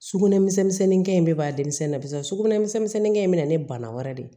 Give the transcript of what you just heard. Sugunɛ misɛnnin kɛ in bɛɛ b'a denmisɛnnin barisa sugunɛ misɛnnin in bɛ na ni bana wɛrɛ de ye